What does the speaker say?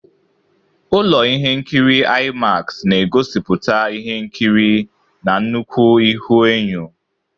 Ụlọ ihe nkiri IMAX na-egosipụta ihe nkiri na nnukwu ihuenyo.